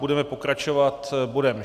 Budeme pokračovat bodem